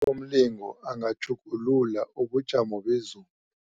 Usomlingo angatjhugulula ubujamo bezulu.